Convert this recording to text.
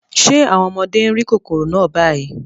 Ṣé àwọn ọmọdé ń rí kòkòrò náà báyìí?